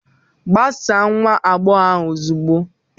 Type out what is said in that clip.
Gbasaa nwa agbọghọ ahụ ozugbo!